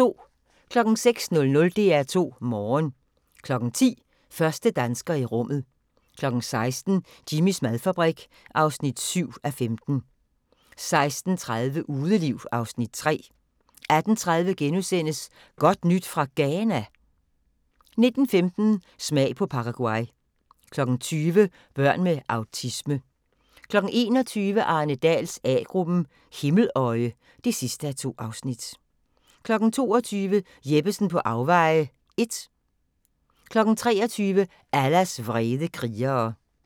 06:00: DR2 Morgen 10:00: Første dansker i rummet 16:00: Jimmys madfabrik (7:15) 16:30: Udeliv (Afs. 3) 18:30: Godt nyt fra Ghana? * 19:15: Smag på Paraguay 20:00: Børn med autisme 21:00: Arne Dahls A-gruppen: Himmeløje (2:2) 22:00: Jeppesen på afveje (1) 23:00: Allahs vrede krigere